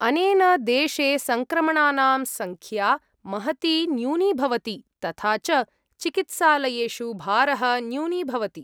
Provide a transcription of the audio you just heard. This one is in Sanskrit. अनेन, देशे सङ्क्रमणानां सङ्ख्या महती न्यूनीभवति तथा च चिकित्सालयेषु भारः न्यूनीभवति।